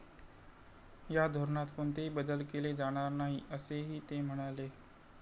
या धोरणात कोणतेही बदल केले जाणार नाही, असेही ते म्हणाले.